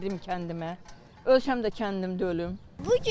Gedirəm kəndimə, öz həm də kəndimdə ölüm.